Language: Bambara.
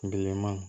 Bilenman